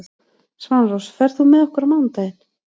Svanrós, ferð þú með okkur á mánudaginn?